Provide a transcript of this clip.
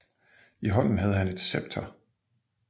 I hånden havde han et scepter